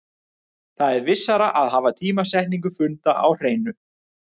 Það er vissara að hafa tímasetningu funda á hreinu.